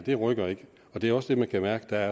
her rykker ikke og det er også det man kan mærke der